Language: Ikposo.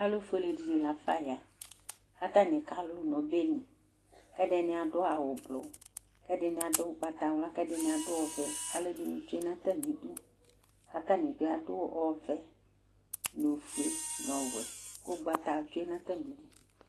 Alufuele nu la fa ya kalu nu obɛli kɛdini adu awu ublu kɛdini adu ugbatawla kɛdini adu ɔvɛ kaluɛdini tsue nu atamidu katani bi adu ɔvɛ nu ofue nu ɔwɛ ku ugbata tsue natamidu